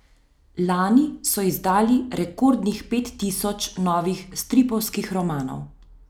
Lani so izdali rekordnih pet tisoč novih stripovskih romanov.